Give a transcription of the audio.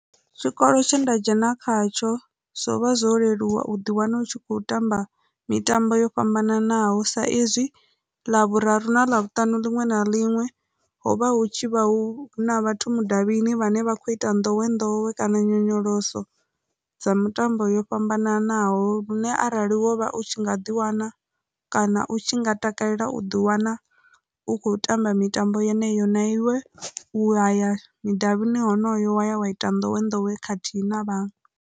Tshikolo tshe nda dzhena khatsho zwo vha zwo leluwa u ḓiwana u tshi kho tamba mitambo yo fhambananaho sa izwi Ḽavhuraru na Ḽavhutanu liṅwe na liṅwe hovha hu tshi vha hu na vhathu mudavhini vhane vha kho ita nḓowenḓowe kana nyonyoloso dza mitambo yo fhambananaho, lune arali wovha u tshi nga ḓi wana kana u tshi nga takalela u ḓi wana u khou tamba mitambo yeneyo na iwe u waya mudavhini honoyo wa ya wa ita nḓowenḓowe khathihi na vhaṅwe.